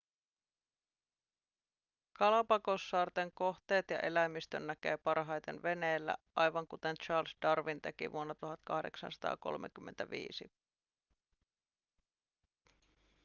galapagossaarten kohteet ja eläimistön näkee parhaiten veneellä aivan kuten charles darwin teki vuonna 1835